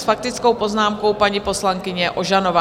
S faktickou poznámkou paní poslankyně Ožanová.